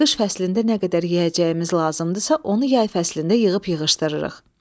Qış fəslində nə qədər yeyəcəyimiz lazımdırsa, onu yay fəslində yığıb yığışdırırıq.